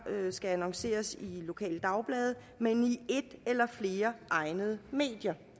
skal annonceres i lokale dagblade men i et eller flere egnede medier